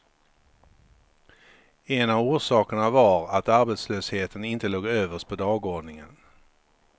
En av orsakerna var att arbetslösheten inte låg överst på dagordningen.